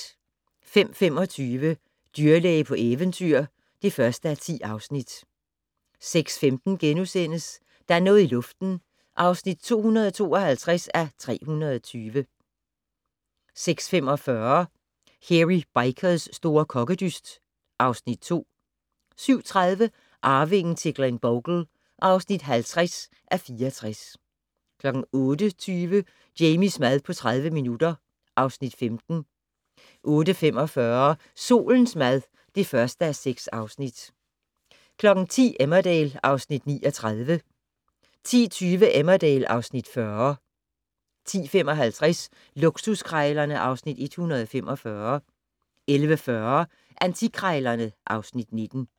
05:25: Dyrlæge på eventyr (1:10) 06:15: Der er noget i luften (252:320)* 06:45: Hairy Bikers' store kokkedyst (Afs. 2) 07:30: Arvingen til Glenbogle (50:64) 08:20: Jamies mad på 30 minutter (Afs. 15) 08:45: Solens mad (1:6) 10:00: Emmerdale (Afs. 39) 10:20: Emmerdale (Afs. 40) 10:55: Luksuskrejlerne (Afs. 145) 11:40: Antikkrejlerne (Afs. 19)